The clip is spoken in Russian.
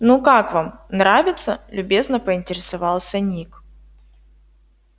ну как вам нравится любезно поинтересовался ник